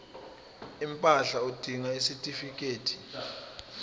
impahla udinga isitifikedi